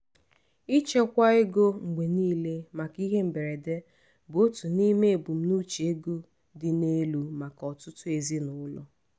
ịchekwa ego mgbe niile maka ihe mberede bụ otu n’ime ebumnuche ego dị n’elu maka ọtụtụ ezinụlọ.